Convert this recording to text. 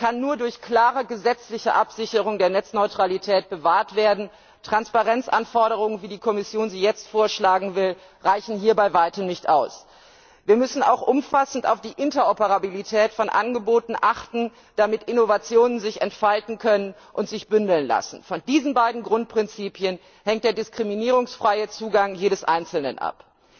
Er kann nur durch klare gesetzliche Absicherung der Netzneutralität bewahrt werden. Transparenzanforderungen, wie die Kommission sie jetzt vorschlagen will, reichen hier bei weitem nicht aus. Wir müssen auch umfassend auf die Interoperabilität von Angeboten achten, damit Innovationen sich entfalten können und sich bündeln lassen. Von diesen beiden Grundprinzipien hängt der diskriminierungsfreie Zugang jedes Einzelnen ab.